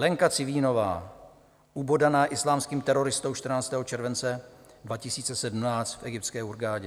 Lenka Civínová, ubodaná islámským teroristou 14. července 2017 v egyptské Hurghadě.